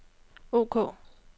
ok